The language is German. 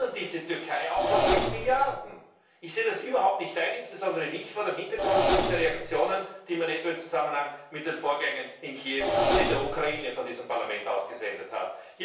Wir belohnen diese Türkei auch noch mit Milliarden! Ich sehe das überhaupt nicht ein, insbesondere nicht vor dem Hintergrund der Reaktionen, die man etwa im Zusammenhang mit den Vorgängen in Kiew und in der Ukraine von diesem Parlament aus gesendet hat.